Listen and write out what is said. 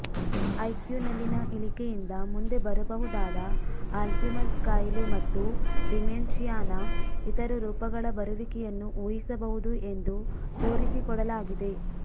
ಐಕ್ಯೂನಲ್ಲಿನ ಇಳಿಕೆಯಿಂದ ಮುಂದೆ ಬರಬಹುದಾದ ಆಲ್ಝೀಮರ್ಸ್ ಖಾಯಿಲೆ ಮತ್ತು ಡಿಮೆನ್ಷಿಯಾನ ಇತರ ರೂಪಗಳ ಬರುವಿಕೆಯನ್ನು ಊಹಿಸಬಹುದು ಎಂದು ತೋರಿಸಿಕೊಡಲಾಗಿದೆ